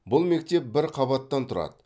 бұл мектеп бір қабаттан тұрады